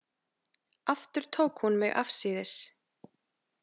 Aftur tók hún mig afsíðis.